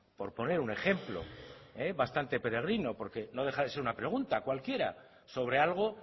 por poner un ejemplo bastante peregrino porque no deja de ser una pregunta cualquiera sobre algo